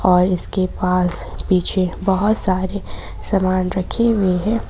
और इसके पास पीछे बहुत सारे सामान रखी हुई है।